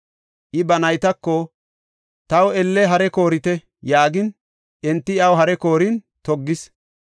I ba naytako “Taw elle hare koorite” yaagin, enti iyaw hare koorin toggis.